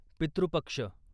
पितृ पक्ष